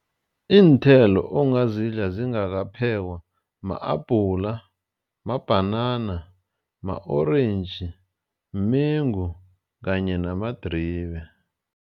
Iinthelo ongazidla zingakaphekwa ma-abhula, mabhanana, ma-orentji, mengu kanye namadribe.